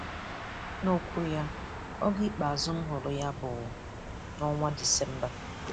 N'okwu ya; 'Oge ikpeazụ m hụrụ ya bụ n'ọnwa Disemba.